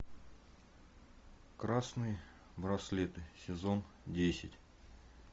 красные браслеты сезон десять